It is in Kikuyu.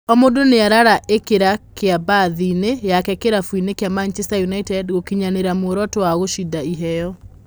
O mũndũ nĩaraa ĩkĩra kĩo bath, i-inĩ yake kĩrabuinĩ kĩa Manchester United gũkinyanĩria muoroto wa gũcinda iheo.